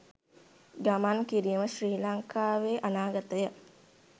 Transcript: ගමන් කිරීම ශ්‍රී ලංකාවේ අනාගතය